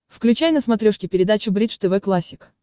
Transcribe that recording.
включай на смотрешке передачу бридж тв классик